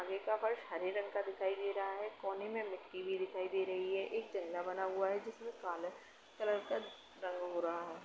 आगे का फर्श हरे रंग का दिखाई दे रहा है। कोने में मिट्टी भी दिखाई दे रही है एक जंगला बना हुआ है जिसमें काला कलर का रंग हो रहा है।